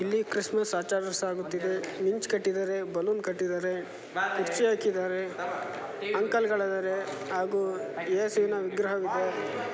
ಇಲ್ಲಿ ಕ್ರಿಸ್ಮಸ್ ಆಚರಿಸಲಾಗುತ್ತಿದೆ. ಮಿಂಚ್ ಕಟ್ಟಿದ್ದಾರೆ ಬಲೂನ್ ಕಟ್ಟಿದ್ದಾರೆ ಕುರ್ಚಿ ಹಾಕಿದ್ದಾರೆ ಅಂಕಲ್ ಗಳದ್ದಾರೆ ಹಾಗೂ ಯೇಸುವಿನ ವಿಗ್ರಹವಿದೆ.